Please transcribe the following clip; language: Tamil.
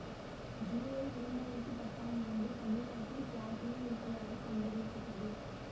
ஜூலை இரண்டு ஆயிரத்தி பத்தாம் ஆண்டு தமிழ்நாட்டில் பிளாட்டினம் இருப்பதாக கண்டரியபட்டது